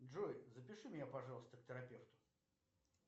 джой запиши меня пожалуйста к терапевту